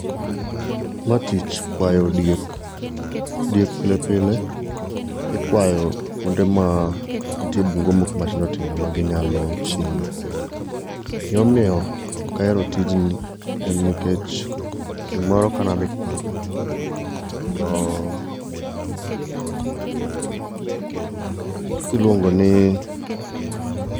Mae tich kwayo diek. Diek pile pile ikwayo kuonde ma nitie bunge moko matindo tindo. kendo ma ginyalo chieme. Gima omiyo ok ahero tijni en nikech, chieng' moro kane adhi kwath to iluongo ni